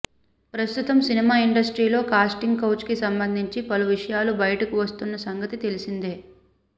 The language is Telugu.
ప్రస్తుతం సినిమా ఇండస్ట్రీలో కాస్టింగ్ కౌచ్ కి సంబంధించి పలు విషయాలు బయటకి వస్తోన్న సంగతి తెలిసిందే